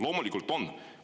Loomulikult on!